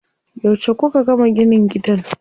Yauce kuka gama ginin gidan?